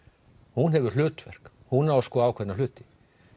hún hefur hlutverk hún á að skoða ákveðna hluti